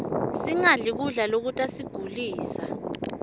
singadli kudla lokutasigulisa